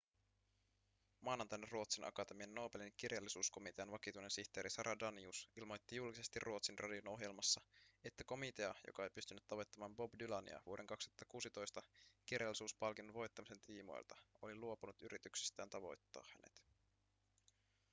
maanantaina ruotsin akatemian nobelin kirjallisuuskomitean vakituinen sihteeri sara danius ilmoitti julkisesti ruotsin radion ohjelmassa että komitea joka ei pystynyt tavoittamaan bob dylania vuoden 2016 kirjallisuuspalkinnon voittamisen tiimoilta oli luopunut yrityksistään tavoittaa hänet